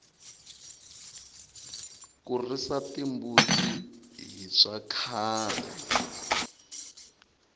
ku risa timbuti hi swa khale